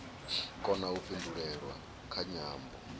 kona u pindulelwa kha nyambo